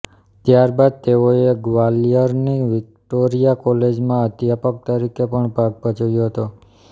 ત્યારબાદ તેઓએ ગ્વાલીયરની વિક્ટોરીયા કોલેજમાં અધ્યાપક તરીકે પણ ભાગ ભજ્વ્યો હતો